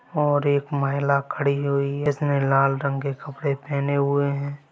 और एक महिला खड़ी हुई है जिसने लाल रंग के कपड़े पहने हुए हैं।